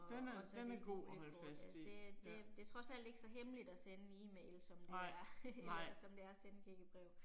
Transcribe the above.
Den er den er god at holde fast i ja. Nej, nej